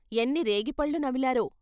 ఎన్ని రేగిపళ్ళు నమిలారో?